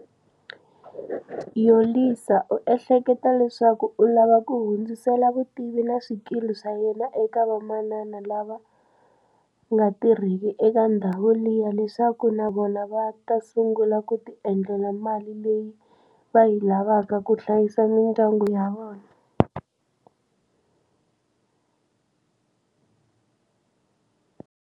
Yolisa u ehlekete leswaku u lava ku hundzisela vutivi na swikili swa yena eka vamanana lava nga tirheki eka ndhawu liya leswaku na vona va ta sungula ku tiendlela mali leyi va yi lavaka ku hlayisa mindyangu ya vona.